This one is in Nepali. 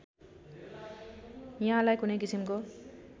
यहाँलाई कुनै किसिमको